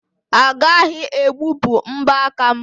Agaghị egbupụ mbọ aka m.